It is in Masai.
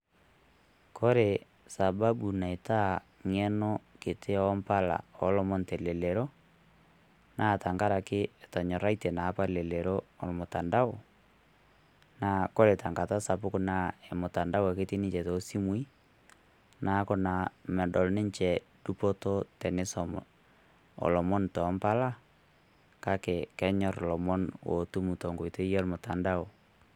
Kore sababu naitaa ng'eno nkitii oompala oolomon telelero, naa tang'araki etonyorratie naa apa olelero o mutandao. Naa kore te ng'ata sapuk naa mutandao ake etii ninche to simui. Naaku naa meedol ninye dupoto tenesomo oolomon to mpalaa. Kaki kenyorr lomoon otuum to nkoitoi e mutandao.